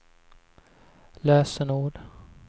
lösenord